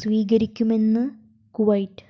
സ്വീകരിക്കുമെന്ന് കുവൈറ്റ്